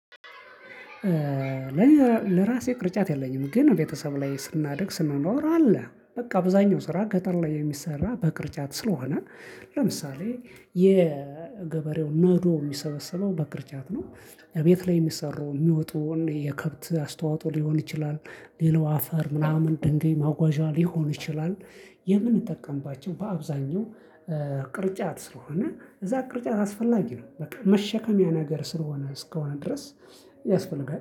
ለራሴ ቅርጫት የለኝም ግን ቤተሰብ ላይ ስናድግ ስንኖር አለ በቃ አብዛኛው ስራ ገጠር ላይ የሚሰራ በቅርጫት ስለሆነ ለምሳሌ የገበሬው ነዶ የሚሰበሰበው በቅርጫት ነው። ቤት ላይ የሚሰሩ የሚወጡን የከብት አስተዋጽኦ ሊሆን ይችላል። ሌላው አፈር ምናምን ድንጋይ ማጓዣ ሊሆን ይችላል። የምንጠቀምባቸው በአብዛኛው ቅርጫት ስለሆነ እዛ ቅርጫት አስፈላጊ ነው። በቃ መሸከሚያ ነገር ስለሆነ እስከሆነ ድረስ ያስፈልጋል